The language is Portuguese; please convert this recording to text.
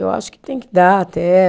Eu acho que tem que dar até.